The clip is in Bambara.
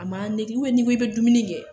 A ma n'i ko k'i bɛ dumuni kɛ